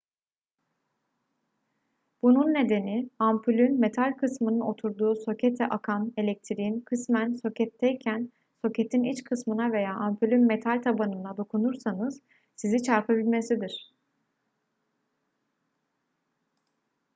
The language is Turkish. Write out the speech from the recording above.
bunun nedeni ampulün metal kısmının oturduğu sokete akan elektriğin kısmen soketteyken soketin iç kısmına veya ampulün metal tabanına dokunursanız sizi çarpabilmesidir